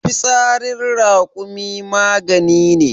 fitsarin rakumi magani ne